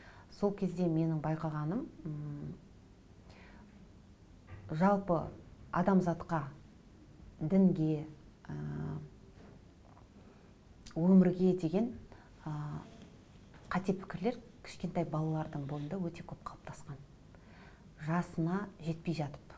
сол кезде менің байқағаным м жалпы адамзатқа дінге ыыы өмірге деген ы қате пікірлер кішкентай балалардың бойында өте көп қалыптасқан жасына жетпей жатып